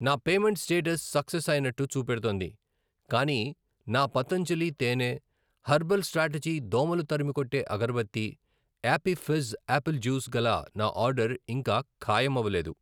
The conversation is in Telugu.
నా పేమెంటు స్టేటస్ సక్సెస్ అయినట్టు చూపెడుతోంది, కానీ నా పతంజలి తేనె, హెర్బల్ స్ట్రాటజీ దోమలు తరిమికొట్టే అగరబత్తి, యాపీ ఫిజ్ యాపిల్ జూస్ గల నా ఆర్డర్ ఇంకా ఖాయమవ్వలేదు.